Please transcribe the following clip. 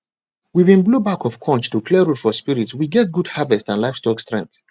we been blow back of conch to clear road for spirits we get good harvest and livestock strength